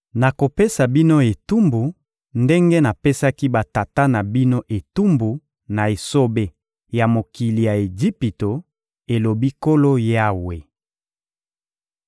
Nakopesa bino etumbu ndenge napesaki batata na bino etumbu na esobe ya mokili ya Ejipito, elobi Nkolo Yawe.